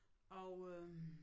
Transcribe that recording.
Og øh